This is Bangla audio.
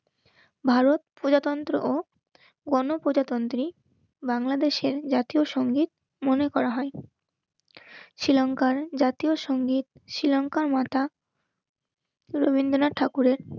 ভারত প্রজাতন্ত্র ও গণপ্রজাতন্ত্রী বাংলাদেশের জাতীয় সঙ্গীত মনে করা হয়. শ্রীলঙ্কার জাতীয় সংগীত শ্রীলংকার মাতা রবীন্দ্রনাথ ঠাকুরের